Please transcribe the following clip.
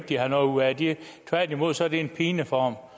de har noget ud af det tværtimod er det en pine for